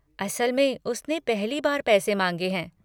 असल में, उसने पहली बार पैसे माँगे हैं।